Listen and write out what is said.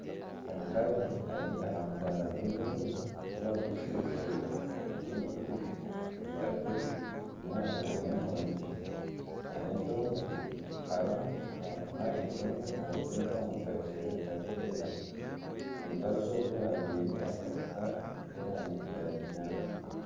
Omukazi ari aha mudaara gw'ebyokurya ahu bakuguriza ebitookye, obutunguru, ebitakuri enyanya n'emondi nana entonga arimu naapima entonga naziteeka omu kaveera karikwera. Omukazi ogwo ajwaire akasaati k'erangi ya kinyaatsi.